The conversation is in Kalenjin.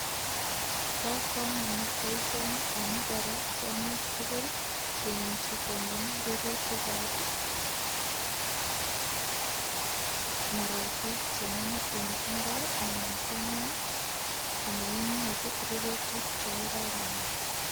Bo kamanut boisioni amu borei tiongik tugul che imuchi kongem rurutik ab marakwek che mongu en imbar anan kongem komainyoru rurutik che kororonen.